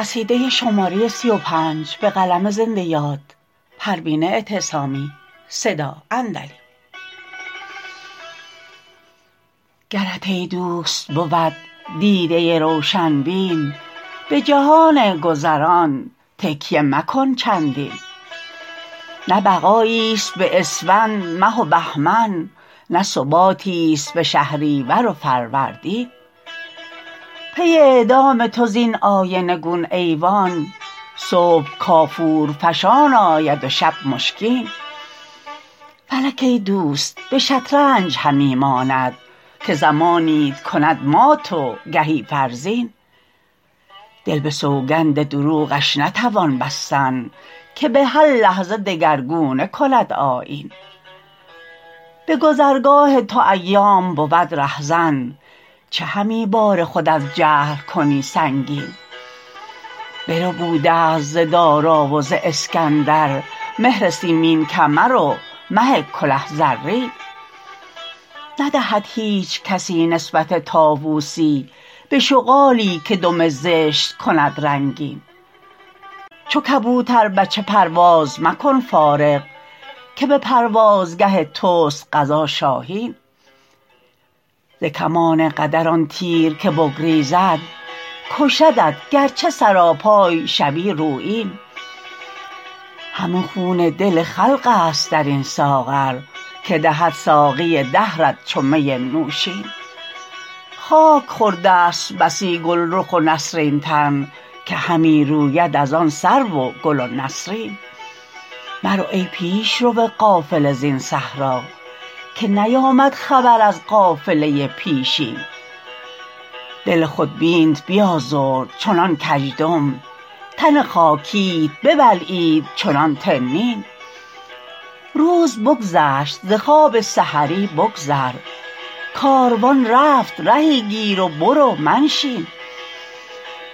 گرت ایدوست بود دیده روشن بین بجهان گذران تکیه مکن چندین نه بقاییست به اسفند مه و بهمن نه ثباتی است به شهریور و فروردین پی اعدام تو زین آینه گون ایوان صبح کافور فشان آید و شب مشکین فلک ایدوست به شطرنج همی ماند که زمانیت کند مات و گهی فرزین دل به سوگند دروغش نتوان بستن که به هر لحظه دگرگونه کند آیین به گذرگاه تو ایام بود رهزن چه همی بار خود از جهل کنی سنگین بربود است ز دارا و ز اسکندر مهر سیمین کمر و مه کله زرین ندهد هیچ کسی نسبت طاوسی به شغالی که دم زشت کند رنگین چو کبوتر بچه پرواز مکن فارغ که به پروازگه تست قضا شاهین ز کمان قدر آن تیر که بگریزد کشدت گرچه سراپای شوی رویین همه خون دل خلق است در این ساغر که دهد ساقی دهرت چو می نوشین خاک خوردست بسی گلرخ و نسرین تن که همی روید از آن سرو و گل و نسرین مرو ای پیشرو قافله زین صحرا که نیامد خبر از قافله پیشین دل خود بینت بیازرد چنان کژدم تن خاکیت ببلعید چنان تنین روز بگذشت ز خواب سحری بگذر کاروان رفت رهی گیر و برو منشین